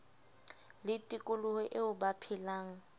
le tikoloho eo ba phelang